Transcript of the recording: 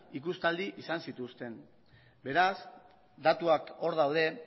ikustaldi izan zituzten beraz datuak hor daude